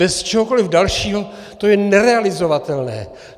Bez čehokoli dalšího to je nerealizovatelné.